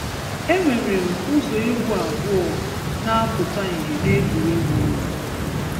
E nwéré úzò égwú ábūò na-apútà íhé négwùrégwù ọ́nwá